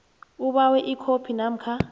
ubawe ikhophi namkha